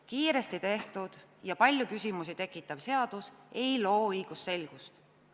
Kiiresti tehtud ja palju küsimusi tekitav seadus ei loo õigusselgust.